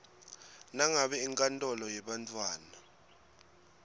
nangabe inkantolo yebantfwana